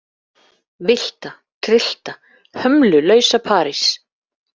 Villta, tryllta, hömlulausa París.